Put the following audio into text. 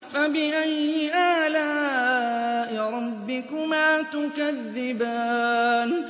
فَبِأَيِّ آلَاءِ رَبِّكُمَا تُكَذِّبَانِ